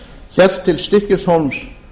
hélt til stykkishólms